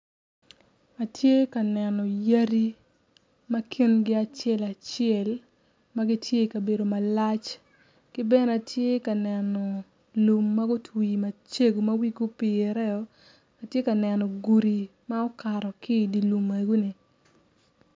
Atye ka neno yadi ma kingi acel acel ma gitye i kabedo malac ki bene atye ka neno lum ma gutwi macego ma wigi opireo atye ka neno gudi ma okato ki idi lum egoni.